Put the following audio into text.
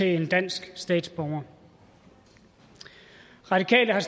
en dansk statsborger radikale har